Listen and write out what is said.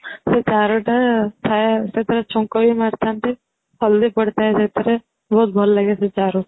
ସେ ଚାରୁଟା ଥାଏ ସେଥିରେ ଛୁଙ୍କ ବି ମାରି ଥାନ୍ତି ହଳଦୀ ପଡି ଥାଏ ସେଇଥିରେ ବହୁତ ଭଲ ଲାଗେ ସେ ଚାରୁ